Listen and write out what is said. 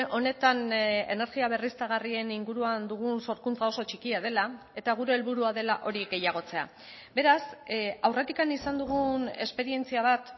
honetan energia berriztagarrien inguruan dugun sorkuntza oso txikia dela eta gure helburua dela hori gehiagotzea beraz aurretik izan dugun esperientzia bat